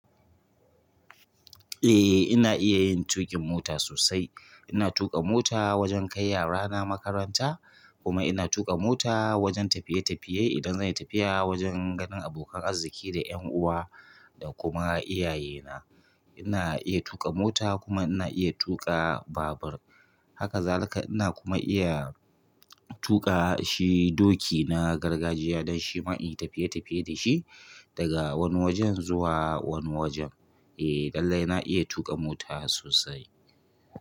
Eh ina iya yin tuƙin mota sosai. Ina tuƙa mota wajen kai yarana makaranta kuma ina tuƙa mota wajen tafiye tafiye idan zan yi tafiya wajen ganin abokan arziki da yan uwa da kuma iyayena. Ina iya tuƙa mota kuma ina iya tuƙa babur. Haka zalika ina kuma iya tuƙa shi doki na gargajiya don shima inyi tafiye tafiye dashi daga wani wajen zuwa wani wajen. Eh lallai ina iya tuƙa mota sosai.